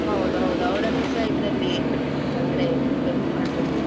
ಹೌದು ಹೌದು ಅವರನ್ನುಸಾ ಇದ್ರಲ್ಲಿ ಅಂದ್ರೆ ಇದ್ ಮಾಡ್ಬೇಕು.